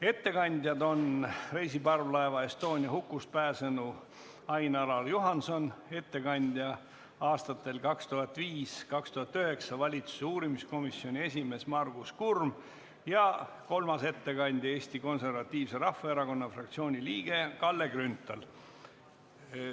Ettekandjad on reisiparvlaeva Estonia hukust pääsenu Ain-Alar Juhanson, Margus Kurm, kes oli valitsuse uurimiskomisjoni esimees aastatel 2005–2009, ja kolmas ettekandja on Eesti Konservatiivse Rahvaerakonna fraktsiooni liige Kalle Grünthal.